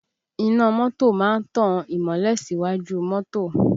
Iná mọ́tò máa ń tan ìmọ́lẹ̀ síwájú mọ́tò